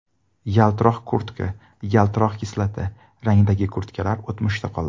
Yaltiroq kurtka Yaltiroq kislota rangidagi kurtkalar o‘tmishda qoldi.